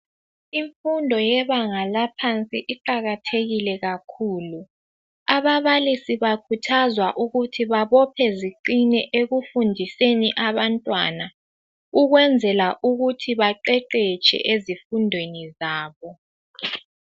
Imfundo yebanga laphansi iqakathekile kakhulu. Ababalisi bakhuthazwa ukuthi babophe ziqine ekufundiseni abantwana ukwenzela ukuthi baqeqetshe ezifundweni zabo.